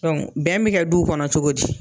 bɛn bɛ kɛ duw kɔnɔ cogo di?